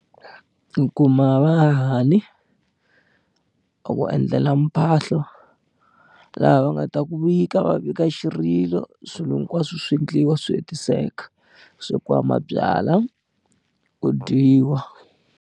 Ku kuma vahahani a ku endlela mphahlo laha va nga ta ku vika va vika xirilo swilo hinkwaswo swi endliwa swi hetiseka ku swekiwa mabyalwa ku dyiwa.